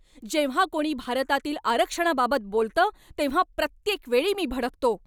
जेव्हा कोणी भारतातील आरक्षणाबाबत बोलतं तेव्हा प्रत्येक वेळी मी भडकतो.